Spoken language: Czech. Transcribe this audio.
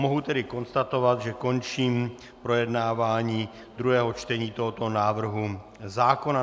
Mohu tedy konstatovat, že končím projednávání druhého čtení tohoto návrhu zákona.